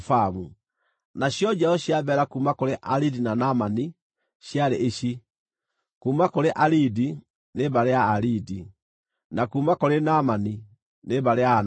Nacio njiaro cia Bela kuuma kũrĩ Aridi na Naamani ciarĩ ici: kuuma kũrĩ Aridi, nĩ mbarĩ ya Aaridi; na kuuma kũrĩ Naamani nĩ mbarĩ ya Anaamani.